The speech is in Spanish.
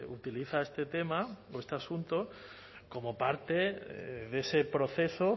utiliza este tema o este asunto como parte de ese proceso